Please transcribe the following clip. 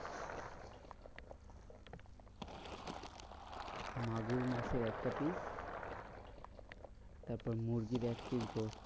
মাগুর মাছের একটা piece তারপর মুরগির এক piece গোস্ট।